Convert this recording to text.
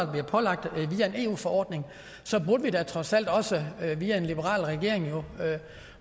bliver pålagt via en eu forordning at vi da trods alt også via en liberal regering